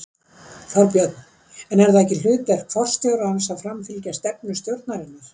Þorbjörn: En er það ekki hlutverk forstjórans að framfylgja stefnu stjórnarinnar?